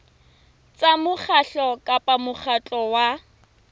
tsa mokgatlo kapa mokgatlo wa